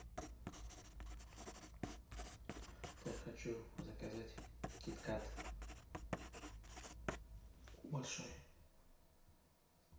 так хочу заказать кит кат большой